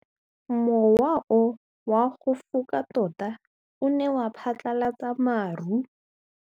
Mowa o wa go foka tota o ne wa phatlalatsa maru.